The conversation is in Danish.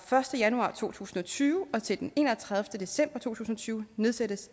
første januar to tusind og tyve og til den enogtredivete december to tusind og tyve nedsættes